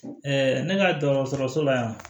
ne ka dɔgɔtɔrɔso la yan